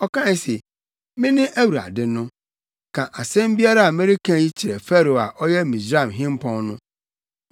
ɔkae se, “Mene Awurade no. Ka asɛm biara a mereka yi kyerɛ Farao a ɔyɛ Misraim hempɔn no.”